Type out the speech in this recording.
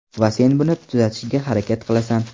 Va sen buni tuzatishga harakat qilasan.